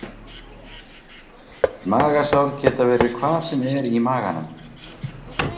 Magasár geta verið hvar sem er í maganum.